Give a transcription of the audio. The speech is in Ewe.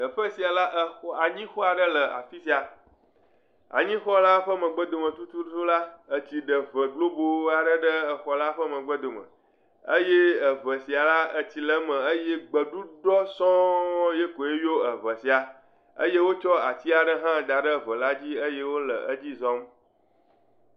Teƒe sia la, exɔ anyi xɔ ɖe le afisia. Anyi xɔ la ƒe megbe dome tutu la, etsi ɖe ʋe globo aɖe le xɔ la ƒe megbe dome eye eʋɛ sia le gbeɖuɖɔ sɔ̃yikɔe yɔ eʋɛ sia eye wokɔ atia ɖe hã da ɖe eʋɛ la dzi eye wole atsia dzi zɔm.